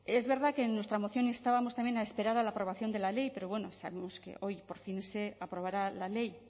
es verdad que en nuestra moción instábamos también a esperar a la aprobación de la ley pero sabemos que hoy por fin se aprobará la ley